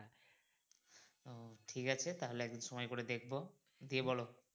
ঠিক আছে তাহলে একদিন সময় করে দেখবো দিয়ে বোলো।